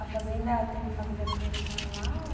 A fazenda tem família tua que mora lá? Ou...